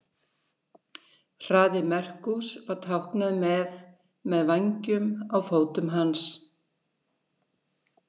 Hraði Merkús var táknaður með með vængjum á fótum hans.